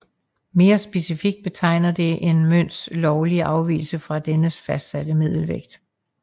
Mere specifikt betegner det en mønts lovlige afvigelse fra dennes fastsatte middelvægt